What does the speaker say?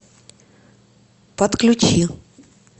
подключи